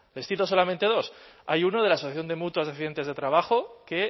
les cito solamente dos hay uno de la asociación de mutuas de accidentes de trabajo que